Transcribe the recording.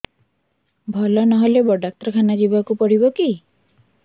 ଭଲ ନହେଲେ ବଡ ଡାକ୍ତର ଖାନା ଯିବା କୁ ପଡିବକି